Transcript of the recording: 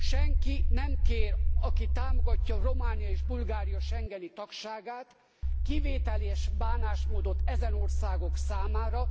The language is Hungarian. Senki nem kér aki támogatja Románia és Bulgária schengeni tagságát kivételes bánásmódot ezen országok számára.